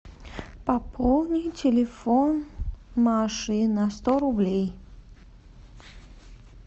пополни телефон маши на сто рублей